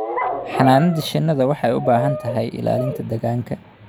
Xannaanada shinnidu waxay u baahan tahay ilaalinta deegaanka.